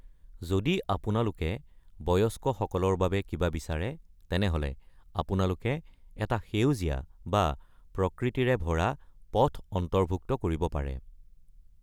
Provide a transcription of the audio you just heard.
যদি আপোনালোকে বয়স্ক সকলৰ বাবে কিবা বিচাৰে, তেনেহ’লে আপোনালোকে এটা সেউজীয়া বা প্ৰকৃতিৰে ভৰা পথ অন্তৰ্ভুক্ত কৰিব পাৰে।